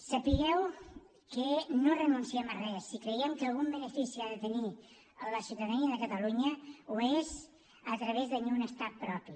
sapigueu que no renunciem a res i creiem que si algun benefici ha de tenir la ciutadania de catalunya és a través de tenir un estat propi